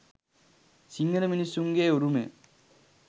සිංහල මිනිසුන්ගෙ උරුමය